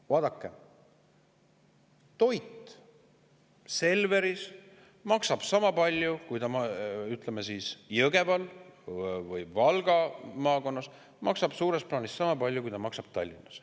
Vaadake, toit Selveris maksab Jõgeval ja Valga maakonnas suures plaanis sama palju, kui see maksab Tallinnas.